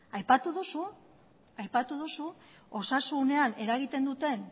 aipatu duzu osasunean eragiten duten